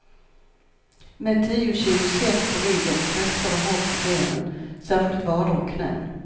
Med tio kilo säck på ryggen frestar det hårt på benen, särskilt vader och knän.